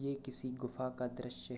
यह किसी गुफा का दृश्य है।